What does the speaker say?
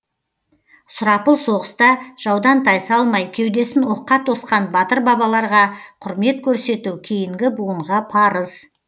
сұрапыл соғыста жаудан тайсалмай кеудесін оққа тосқан батыр бабаларға құрмет көрсету кейінгі буынға парыз